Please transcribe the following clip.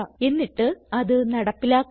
എന്നിട്ട് അത് നടപ്പിലാക്കുക